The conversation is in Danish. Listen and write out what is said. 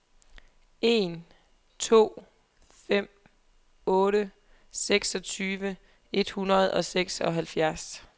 en to fem otte seksogtyve et hundrede og seksoghalvtreds